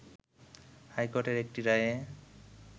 high কোর্টের একটি রায়ে